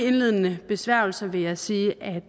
indledende besværgelser vil jeg sige at